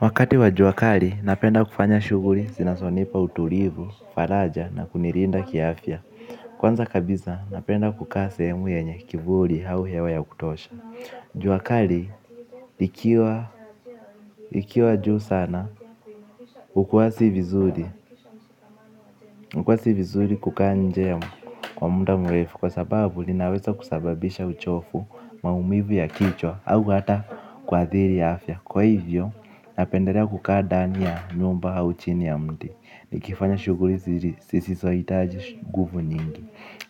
Wakati wa jua kali napenda kufanya shughuli zinazonipa utulivu, faraja na kunilinda ki afya. Kwanza kabisa napenda kukaa sehemu yenye kivuli au hewa ya kutosha. Jua kali likiwa juu sana ukwasi vizuri kukaa njema kwa muda mrefu. Kwa sababu linaweza kusababisha uchovu maumivu ya kichwa au hata kuadhiri afya. Kwa hivyo, napendelea kukaa ndani ya nyumba au chini ya mti. Nikifanya shughuli zisizo hitaji nguvu nyingi.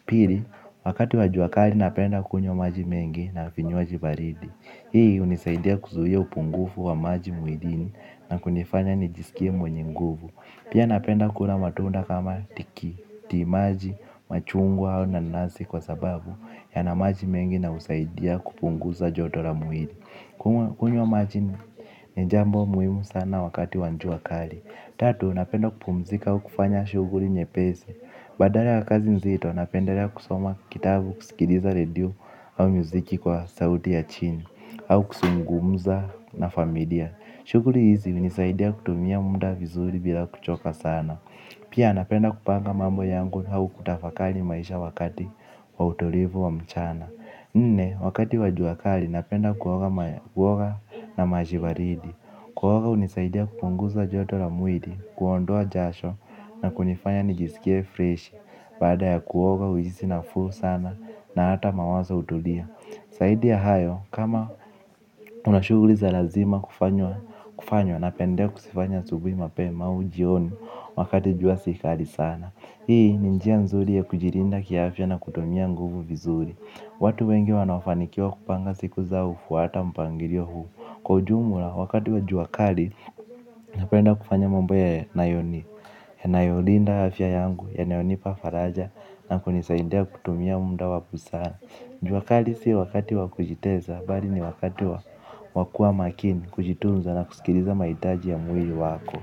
Pili, wakati wa jua kali napenda kunywa maji mengi na vinywaji baridi. Hii hunisaidia kuzuia upungufu wa maji mwilini na kunifanya nijisikie mwenye nguvu. Pia napenda kula matunda kama tikitimaji, machungwa au nanasi kwa sababu yana maji mengi na husaidia kupunguza joto la mwili. Kunywa maji ni ni jambo muhimu sana wakati wa jua kali. Tatu, napenda kupumzika au kufanya shughuli nyepesi. Badala wa kazi nzito, napendelea kusoma kitabu, kusikiliza radio au muziki kwa sauti ya chini au kuzungumza na familia shughuli hizi huinisaidia kutumia muda vizuri bila kuchoka sana. Pia napenda kupanga mambo yangu au kutafakari maisha wakati wa utulivu wa mchana. Nne, wakati wa jua kali, napenda kuoga na maji baridi. Kuoga hunisaidia kupunguza joto la mwili, kuondoa jasho na kunifanya nijisikie freshi. Baada ya kuoga hujihisi nafuu sana na hata mawazo hutulia. Zaidia ya hayo, kama unashughuli za lazima kufanya napendelea kuzifanya asubuhi mapema au jioni, wakati jua si kali sana. Hii, ni njia nzuri ya kujilinda kiafya na kutumia nguvu vizuri. Watu wengi wanaofanikiwa kupanga siku zao hufuata mpangilio huu. Kwa ujumla wakati wa jua kali napenda kufanya mambo yanayo ni yanayolinda afya yangu yanayonipa faraja na kunisaindia kutumia muda wa busara juakali si wakati wa kujitesa bali ni wakati wa kua makini kujitunza na kusikiliza mahitaji ya mwili wako.